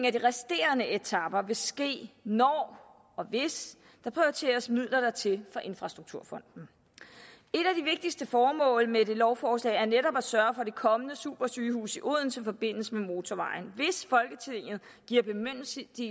af de resterende etaper vil ske når og hvis der prioriteres midler dertil fra infrastrukturfonden et af de vigtigste formål med lovforslaget er netop at sørge for at det kommende supersygehus i odense forbindes med motorvejen hvis folketinget giver bemyndigelse